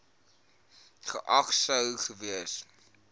geag sou gewees